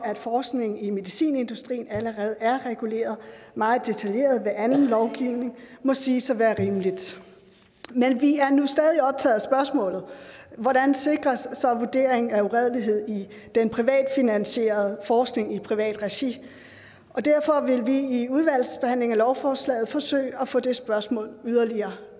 forskning i medicinindustrien allerede er reguleret meget detaljeret ved anden lovgivning må siges at være rimeligt men vi er nu stadig optaget af spørgsmålet hvordan sikres så vurdering af uredelighed i den privatfinansierede forskning i privat regi derfor vil vi i udvalgsbehandlingen af lovforslaget forsøge at få det spørgsmål yderligere